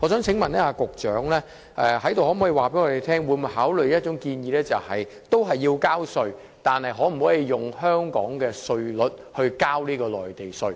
請問局長可否在此告訴我們會否考慮一項建議，就是這些人士仍然要繳稅，但可否以香港稅率繳付內地稅？